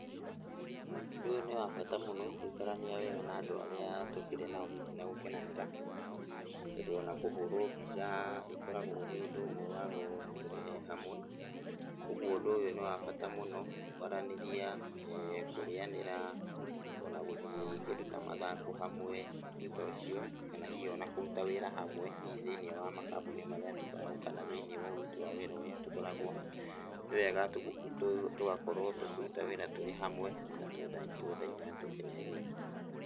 Ũndũ ũyũ nĩ wa bata mũno gũikarania wega na andũ arĩa tũkĩrĩ nao hihi na gũkenanĩra, tondũ ona kũhũrwo mbica ĩkoragwo arĩ ũndũ ũmwe wa gũtũrehe hamwe, ũguo ũndũ ũyũ nĩ wa bata mũno, kwaranĩria, kũrĩanĩra ona gũthiĩ kĩndũ ta mathako hamwe ũndũ ta ũcio, kana hihi ona kũruta wĩra hamwe hihi thĩiniĩ wa makambũni marĩa tũkoragwo kana hihi thĩiniĩ wa ũruti wa wĩra ũrĩa tũkoragũo, nĩwega tũgakorwo tũkĩruta wĩra tũrĩ hamwe na twendaine na tũkenete.